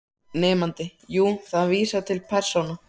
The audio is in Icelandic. Nemandi: Jú, það vísar til persóna